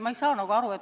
Ma ei saa sellest aru.